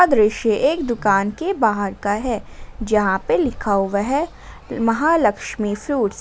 दृश्य एक दुकान के बाहर का है जहां पे लिखा हुआ है महालक्ष्मी फ्रुट्स --